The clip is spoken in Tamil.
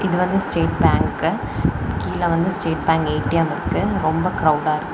இது வந்து ஸ்டேட் பேங்க் கீழ வந்து ஸ்டேட் பேங்க் ஏ_டி_எம் இருக்கு ரொம்ப கிரவுடா இருக்கு.